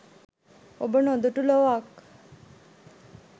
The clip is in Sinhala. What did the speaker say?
ඔබ නොදු‍ටු ලොවක්